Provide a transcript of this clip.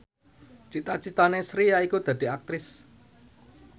cita citane Sri yaiku dadi Aktris